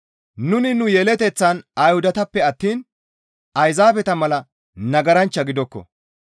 «Nuni nu yeleteththan Ayhudatappe attiin Ayzaabeta mala nagaranchcha gidokko.